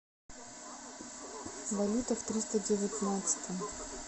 валюта в триста девятнадцатом